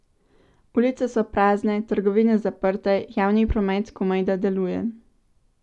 Ulice so prazne, trgovine zaprte, javni promet komajda deluje.